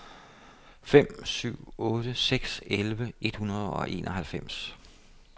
fem syv otte seks elleve et hundrede og enoghalvfems